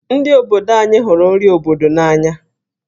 Ndi obodo anyi hụrụ nri obodo n'anya.